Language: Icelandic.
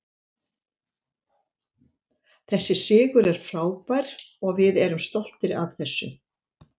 Þessi sigur er frábær og við erum stoltir af þessu.